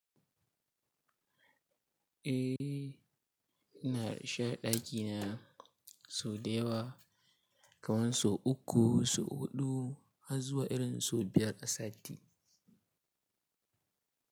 Eh, ina rashe ɗakina sau da yawa, kamar sau uku, sau huɗu har zuwa irin sau biyar a sati.